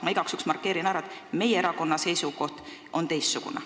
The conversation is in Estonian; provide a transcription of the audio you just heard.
Ma igaks juhuks markeerin ära, et meie erakonna seisukoht on teistsugune.